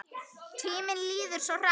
Tíminn líður svo hratt.